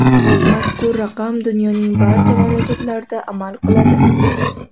Mazkur raqam dunyoning barcha mamlakatlarida amal qiladi.